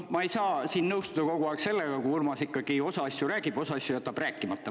Ma ei saa ikkagi nõustuda sellega, et Urmas kogu aeg osa asju räägib, aga osa asju jätab rääkimata.